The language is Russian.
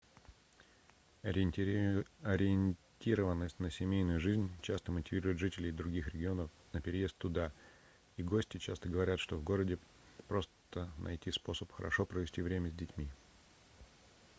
ориентированность на семейную жизнь часто мотивирует жителей других районов на переезд туда и гости часто говорят что в городе просто найти способ хорошо провести время с детьми